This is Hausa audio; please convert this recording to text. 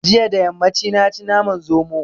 Jiya da yammaci na ci naman zomo